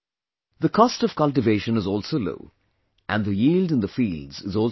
The cost of cultivation is also low, and the yield in the fields is also high